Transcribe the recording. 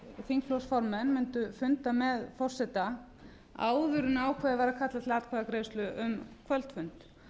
þingflokksformenn mundu funda með forseta áður en ákveðið var að kalla til atkvæðagreiðslu um kvöldfund